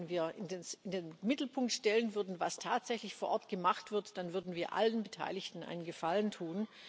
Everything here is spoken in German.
Ich glaube, wenn wir in den Mittelpunkt stellen würden, was tatsächlich vor Ort gemacht wird, dann würden wir allen Beteiligten einen Gefallen tun.